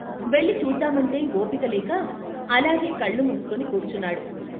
వెళ్ళి చూద్దామంటే ఓపికలేక అలాగే కళ్ళుమూసుకుని కూర్చున్నాడు.